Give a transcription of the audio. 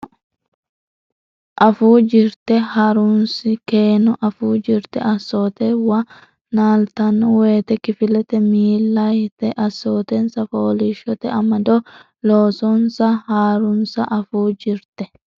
Afuu Jirte Ha runsi keeno afuu jirte assoote wo naaltanno woyte kifilete milli yitanni assootensa fooliishshote amado loosansa ha runsi Afuu Jirte.